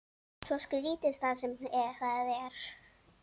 Svo skrítið sem það er.